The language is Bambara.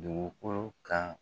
Dugukolo kan